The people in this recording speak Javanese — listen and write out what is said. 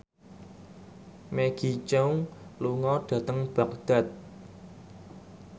Maggie Cheung lunga dhateng Baghdad